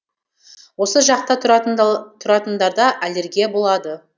осы жақта тұратындарда аллергия болады